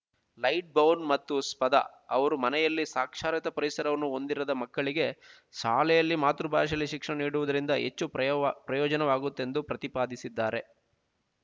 Lightbown ಮತ್ತು Spada ಅವರು ಮನೆಯಲ್ಲಿ ಸಾಕ್ಷರತಾ ಪರಿಸರವನ್ನು ಹೊಂದಿರದ ಮಕ್ಕಳಿಗೆ ಶಾಲೆಯಲ್ಲಿ ಮಾತೃಭಾಷೆಯಲ್ಲಿ ಶಿಕ್ಷಣ ನೀಡುವುದರಿಂದ ಹೆಚ್ಚು ಪ್ರಯೋವ ಪ್ರಯೋಜನವಾಗುತ್ತದೆಂದು ಪ್ರತಿಪಾದಿಸಿದ್ದಾರೆ